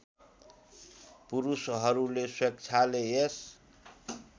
पुरुषहरूले स्वेच्छाले यस